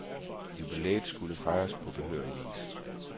Jubilæet skulle fejres på behørig vis.